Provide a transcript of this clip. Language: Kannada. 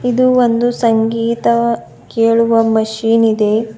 ಇದು ಒಂದು ಸಂಗೀತ ಕೇಳುವ ಮಷೀನ್ ಇದೆ.